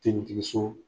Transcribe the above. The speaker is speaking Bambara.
Tentigi so